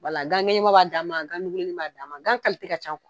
wala Gan ŋɛɲɛma b'a dan ma gan nuguleni b'a dan ma gan kalite ka ca o